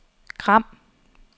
Gram